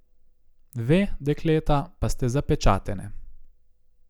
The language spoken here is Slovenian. Ve, dekleta, pa ste zapečatene.